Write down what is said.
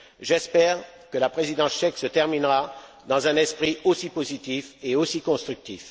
J'espère que la présidence tchèque se terminera dans un esprit aussi positif et aussi constructif.